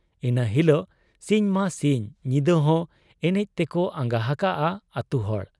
ᱤᱱᱟᱹ ᱦᱤᱞᱚᱜ ᱥᱤᱧ ᱢᱟ ᱥᱤᱧ, ᱧᱤᱫᱟᱹᱦᱚᱸ ᱮᱱᱮᱡ ᱛᱮᱠᱚ ᱟᱸᱜᱟ ᱦᱟᱠᱟᱜ ᱟ ᱟᱹᱛᱩᱦᱚᱲ ᱾